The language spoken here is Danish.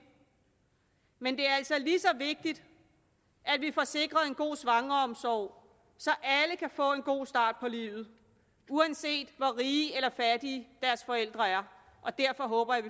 men det er altså lige så vigtigt at vi får sikret en god svangreomsorg så alle kan få en god start på livet uanset hvor rige eller fattige deres forældre er og derfor håber jeg